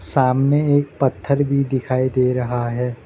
सामने एक पत्थर भी दिखाई दे रहा है।